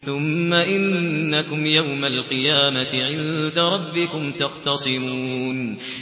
ثُمَّ إِنَّكُمْ يَوْمَ الْقِيَامَةِ عِندَ رَبِّكُمْ تَخْتَصِمُونَ